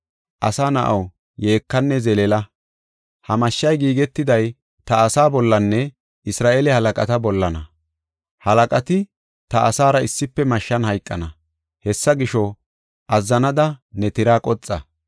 Asa na7aw, yeekanne zeleela; ha mashshay giigetiday ta asaa bollanne Isra7eele halaqata bollana. Halaqati ta asaara issife mashshan hayqana; Hessa gisho, azzanada ne tiraa qoxa.